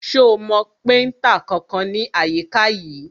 Ṣo mọ péntà kankan ní àyíká yìí?